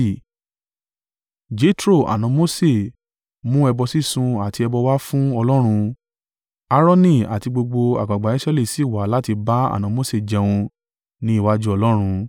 Jetro, àna Mose, mú ẹbọ sísun àti ẹbọ wá fún Ọlọ́run. Aaroni àti gbogbo àgbàgbà Israẹli sì wá láti bá àna Mose jẹun ní iwájú Ọlọ́run.